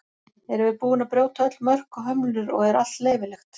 erum við búin að brjóta öll mörk og hömlur og er allt leyfilegt